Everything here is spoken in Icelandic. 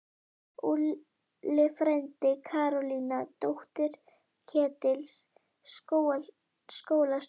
Úlli frændi og Karólína, dóttir Ketils skólastjóra!